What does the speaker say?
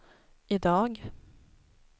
idag